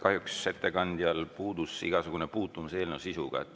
Kahjuks ettekandel puudus igasugune puutumus eelnõu sisuga.